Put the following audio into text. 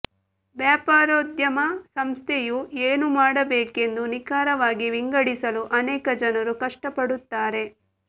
ವ್ಯಾಪಾರೋದ್ಯಮ ಸಂಸ್ಥೆಯು ಏನು ಮಾಡಬೇಕೆಂದು ನಿಖರವಾಗಿ ವಿಂಗಡಿಸಲು ಅನೇಕ ಜನರು ಕಷ್ಟಪಡುತ್ತಾರೆ